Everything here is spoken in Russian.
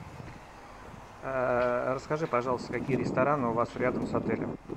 расскажи пожалуйста какие рестораны у вас рядом с отелем